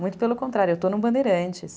Muito pelo contrário, eu estou no Bandeirantes.